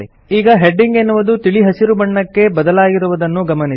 ಈಗ ಹೆಡಿಂಗ್ ಎನ್ನುವುದು ತಿಳಿ ಹಸಿರು ಬಣ್ಣಕ್ಕೆ ಬದಲಾಗಿರುವುದನ್ನು ಗಮನಿಸಿ